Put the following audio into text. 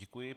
Děkuji.